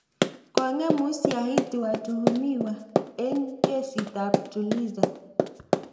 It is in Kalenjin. Kogong'em usyahiti watuhumiwa eng kesiit ab Tulisa